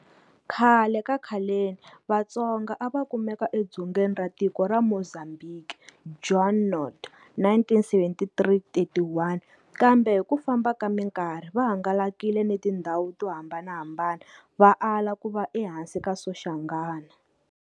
Khale ka khaleni, Vatsonga a va kumeka eDzongeni ra tiko ra Mozambiki, Junod, 1977-31. Kambe hi ku famba ka mikarhi va hangalakile ni tindhawu to hambanahambana va ala ku va ehansi ka Soshangana.